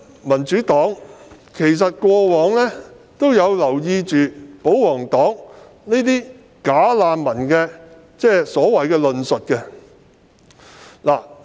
民主黨過往一直有留意保皇黨提出的所謂"假難民"的論述。